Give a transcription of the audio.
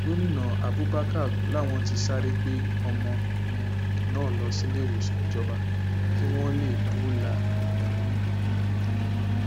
gomina abubakar làwọn ti sáré gbé ọmọ um náà lọ síléèwòsàn ìjọba kí wọn lè dóòlà ẹmí um ẹ